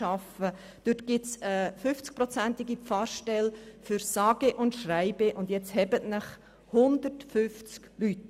Hingegen besteht noch eine Pfarrstelle im Umfang von 50 Prozent für sage und schreibe – halten Sie sich fest – 150 Leute!